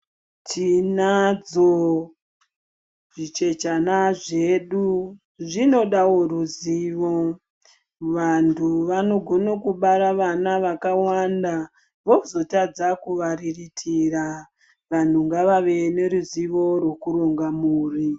Tinadzo zvichechana zvedu zvinodawo ruzivo vantu vanogona kubara vana vakawanda vozotadza kuvariritira. Vantu ngavave neruzivo rwekuronga mhuri.